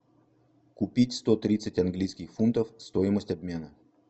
купить сто тридцать английских фунтов стоимость обмена